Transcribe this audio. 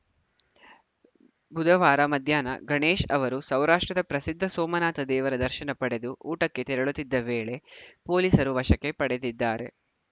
ಬುಧವಾರ ಮಧ್ಯಾಹ್ನ ಗಣೇಶ್‌ ಅವರು ಸೌರಾಷ್ಟ್ರದ ಪ್ರಸಿದ್ಧ ಸೋಮನಾಥ ದೇವರ ದರ್ಶನ ಪಡೆದು ಊಟಕ್ಕೆ ತೆರಳುತ್ತಿದ್ದ ವೇಳೆ ಪೊಲೀಸರು ವಶಕ್ಕೆ ಪಡೆದಿದ್ದಾರೆ